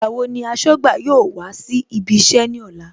Ìgbà wo ni aṣọ́gbà yóò wá síbí iṣẹ́ ní ọ̀la